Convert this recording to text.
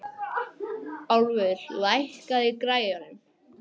Álfur, lækkaðu í græjunum.